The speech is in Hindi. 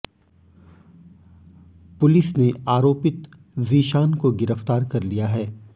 पुलिस ने आरोपित ज़ीशान को गिरफ़्तार कर लिया है